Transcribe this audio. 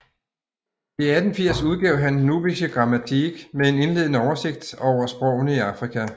I 1880 udgav han Nubische Grammatik med en indledende oversigt over sprogene i Afrika